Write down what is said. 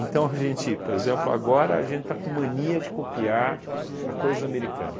a gente, por exemplo, agora a gente está com mania de copiar a coisa americana.